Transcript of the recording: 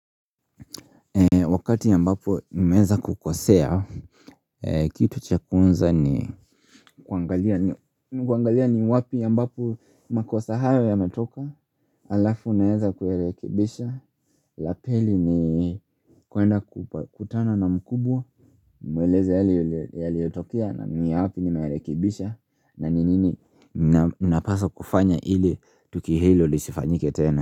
Wakati ambapo nimeeza kukosea, kitu cha kwanza ni kuangalia ni wapi ya mbapo makosa hayo yametoka Alafu naeza kuyarekebisha, la pili ni kuenda kukutana na mkubwa nimweleze yale yaliotokea na niyapi nimeyarekebisha na ni nini napaswa kufanya ili tukio hilo lisifanyike tena.